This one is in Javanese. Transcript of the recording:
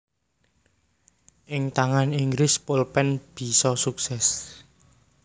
Ing tangane Inggris polpen bisa sukses